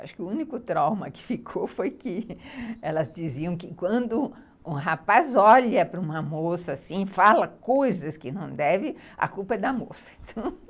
Acho que o único trauma que ficou foi que elas diziam que quando um rapaz olha para uma moça assim, fala coisas que não deve, a culpa é da moça.